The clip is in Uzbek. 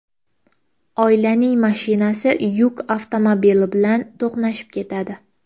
Oilaning mashinasi yuk avtomobili bilan to‘qnashib ketadi.